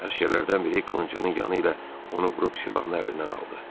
Əsgərlərdən biri qılıncının yanı ilə onu vurub silahını əlindən aldı.